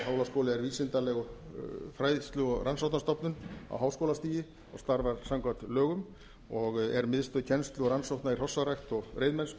hólaskóli er vísindaleg fræðslu og rannsóknastofnun á háskólastigi og starfar samkvæmt lögum og er miðstöð kennslu og rannsókna í hrossarækt og reiðmennsku